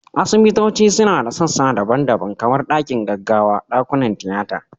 Asibitoci suna da sassa daban-daban, kamar dakin gaggawa, dakunan tiyata